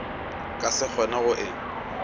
ka se kgone go e